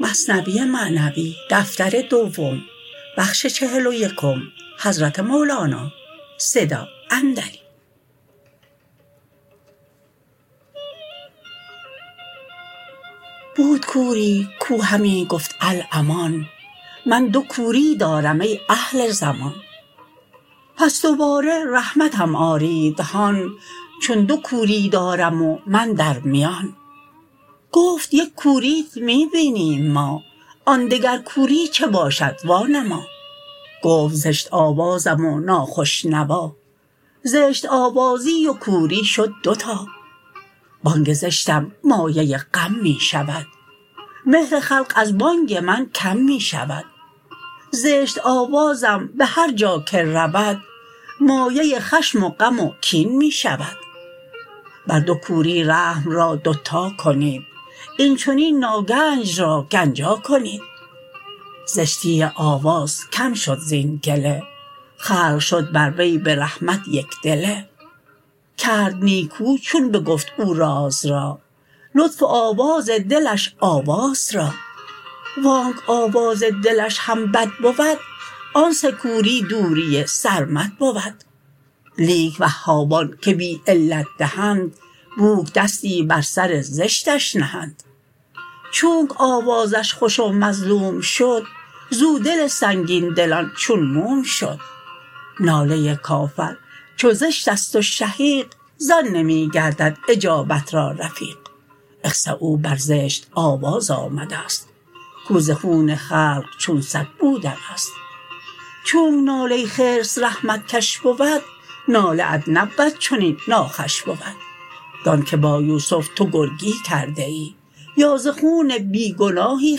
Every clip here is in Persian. بود کوری کو همی گفت الامان من دو کوری دارم ای اهل زمان پس دوباره رحمتم آرید هان چون دو کوری دارم و من در میان گفت یک کوریت می بینیم ما آن دگر کوری چه باشد وا نما گفت زشت آوازم و ناخوش نوا زشت آوازی و کوری شد دوتا بانگ زشتم مایه غم می شود مهر خلق از بانگ من کم می شود زشت آوازم بهر جا که رود مایه خشم و غم و کین می شود بر دو کوری رحم را دوتا کنید این چنین ناگنج را گنجا کنید زشتی آواز کم شد زین گله خلق شد بر وی برحمت یک دله کرد نیکو چون بگفت او راز را لطف آواز دلش آواز را وانک آواز دلش هم بد بود آن سه کوری دوری سرمد بود لیک وهابان که بی علت دهند بوک دستی بر سر زشتش نهند چونک آوازش خوش و مظلوم شد زو دل سنگین دلان چون موم شد ناله کافر چو زشتست و شهیق زان نمی گردد اجابت را رفیق اخسؤا بر زشت آواز آمدست کو ز خون خلق چون سگ بود مست چونک ناله خرس رحمت کش بود ناله ات نبود چنین ناخوش بود دان که با یوسف تو گرگی کرده ای یا ز خون بی گناهی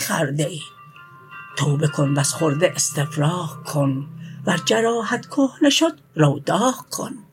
خورده ای توبه کن وز خورده استفراغ کن ور جراحت کهنه شد رو داغ کن